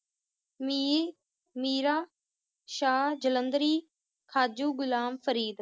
ਮੀ~ Miran, Shah Jalandhari, Khaju Ghulam Farid